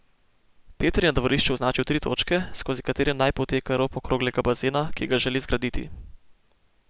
Peter je na dvorišču označil tri točke, skozi katere naj poteka rob okroglega bazena, ki ga želi zgraditi.